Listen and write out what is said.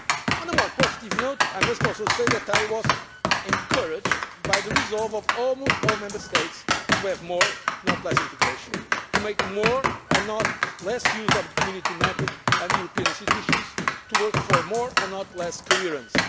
treaties. On a more positive note, I must also say that I was encouraged by the resolve of almost all the Member States to have more, not less, integration, to make more, and not less, use of the Community method and the European institutions, and to work for more, and not less, coherence.